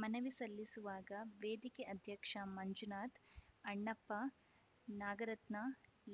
ಮನವಿ ಸಲ್ಲಿಸುವಾಗ ವೇದಿಕೆ ಅಧ್ಯಕ್ಷ ಮಂಜುನಾಥ್‌ ಅಣ್ಣಪ್ಪ ನಾಗರತ್ನ